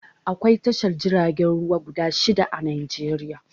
Akwai tashar jiragen ruwa guda shidda a Najeriya